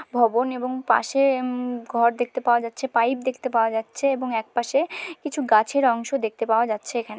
ভবন এবং পাশে উমম ঘর দেখতে পাওয়া যাচ্ছে পাইপ দেখতে পাওয়া যাচ্ছে এবং একপাশে কিছু গাছের অংশ দেখতে পাওয়া যাচ্ছে এখানে।